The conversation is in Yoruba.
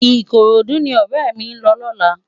Ikorodu ni òrè mi n lò lòlá